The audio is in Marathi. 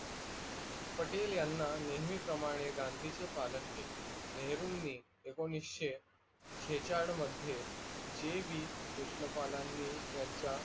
पटेलयांना नेहमी प्रमाणे गांधीचे पालन केले. नहेरूनी एकोणविशे छेचाड मध्ये जे वी कृष्णपालानी यांचा